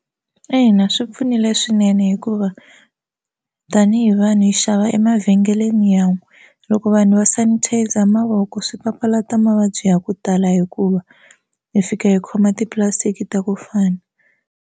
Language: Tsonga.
Ina swi pfunile swinene hikuva tanihi vanhu hi xava emavhengeleni ya n'we loko vanhu va sanitizer mavoko swi papalata mavabyi ya ku tala hikuva hi fika hi khoma tipulastiki ta ku fana.